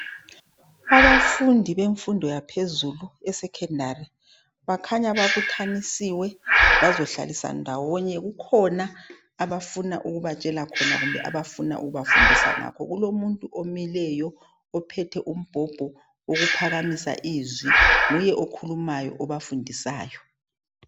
Abafundi bemfundo yaphezulu esekhendari bakhanya babuthanisiwe bazohlaliswa ndawonye kukhona abafuna ukubatshela khona kumbe ukubafundisa khona kulomuntu omileyo ophethe umbhobho wokuphakamisa izwi nguye okhulumayo obafundisayo.